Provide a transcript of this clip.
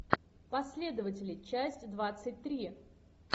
последователи часть двадцать три